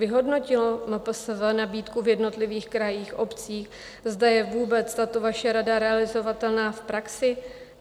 Vyhodnotilo MPSV nabídku v jednotlivých krajích, obcích, zda je vůbec tato vaše rada realizovatelná v praxi?